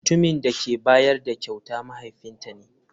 Mutumin da ke bayar da kyautar mahaifinta ne.